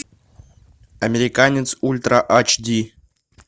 американец ультра ач ди